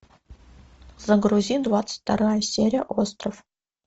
загрузи двадцать вторая серия остров